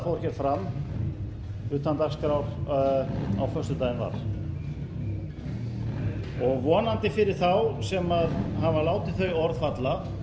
fram utan dagskrár á föstudaginn var vonandi fyrir þá sem hafa látið þau orð falla